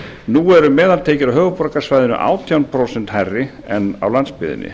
nú eru meðaltekjur á höfuðborgarsvæðinu átján prósent hærri en á landsbyggðinni